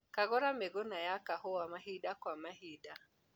Kagũra mĩgũna ya kahũa mahinda kwa mahinda.